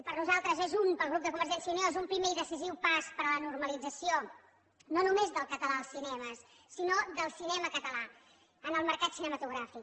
per nosaltres pel grup de convergència i unió és un primer i decisiu pas per a la normalització no només del català als cinemes sinó del cinema català en el mercat cinematogràfic